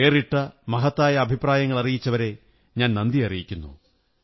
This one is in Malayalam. വേറിട്ട മഹത്തായ അഭിപ്രായങ്ങളറിയിച്ചവരെ ഞാൻ നന്ദി അറിയിക്കുന്നു